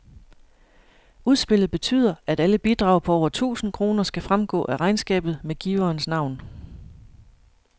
Udspillet betyder, at alle bidrag på over tusind kroner skal fremgå af regnskabet med giverens navn.